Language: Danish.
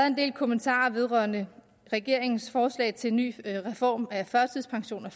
en del kommentarer vedrørende regeringens forslag til en ny reform af førtidspensionen og